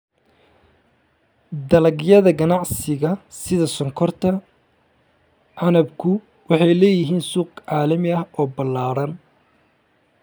Dalagyada ganacsiga sida sonkorta canabku waxay leeyihiin suuq caalami ah oo ballaaran.